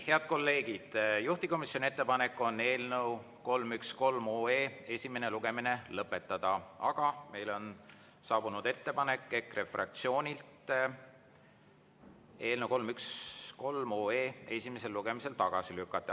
Head kolleegid, juhtivkomisjoni ettepanek on eelnõu 313 esimene lugemine lõpetada, aga meile on saabunud EKRE fraktsioonilt ettepanek eelnõu 313 esimesel lugemisel tagasi lükata.